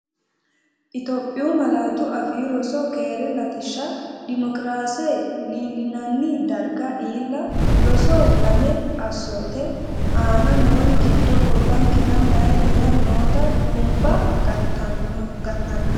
Itophiyu Malaatu Afii Roso keere latishsha dimokiraase Iillinanni darga iilla ROSO LAME Assoote, Aane noori giddo gobbankera meyaatera noota duumba gatanna?